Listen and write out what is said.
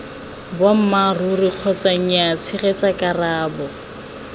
boammaaruri kgotsa nyaa tshegetsa karabo